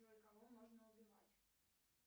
джой кого можно убивать